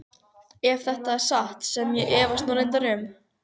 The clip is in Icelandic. Ef þetta er satt sem ég efast nú reyndar um.